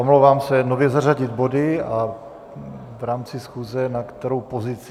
Omlouvám se, nově zařadit body a v rámci schůze na kterou pozici?